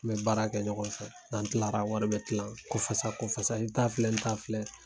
N bɛ baara kɛ ɲɔgɔn fɛ n'an tilara wari bɛ tilan kɔfasa kɔfasa i ta filɛ n ta filɛ.